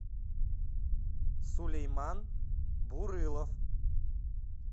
сулейман бурылов